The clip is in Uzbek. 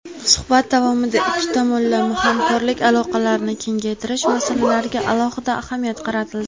Suhbat davomida ikki tomonlama hamkorlik aloqalarini kengaytirish masalalariga alohida ahamiyat qaratildi.